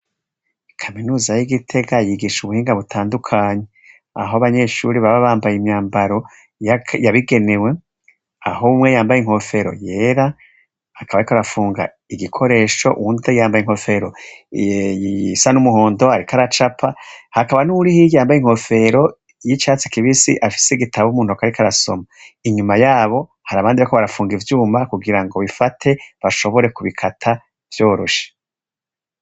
Kaminuza y'i Gitega yigisha ubuhinga butandukanye, aho abanyeshuri baba bambaye imyambaro yabigenewe, aho umwe yambaye inkofero yera, akaba riko arafunga igikoresho uwundi yambaye inkofero isa n'umuhondo, ariko aracapa, hakaba n'uwuri hirya yambaye inkofero y'icyatsi kibisi afise igitabo mu ntoke ariko arasoma. Inyuma yabo hari abandi bariko barapfunga ivyuma kugira ngo bifate bashobore kubikata vyoroshe.